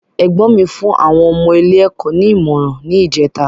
Ẹ̀gbọ́n mi fún àwọn ọmọ ilé ẹ̀kọ́ ní ìmọràn ni ìjèta